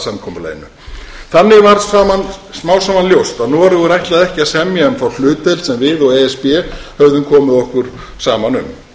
samkomulaginu þannig varð smám saman ljóst að noregur ætlaði ekki að semja um þá hlutdeild sem við og e s b höfðum komið okkur saman um